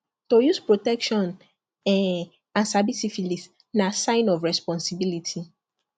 to use protection um and sabi syphilis na sign of responsibility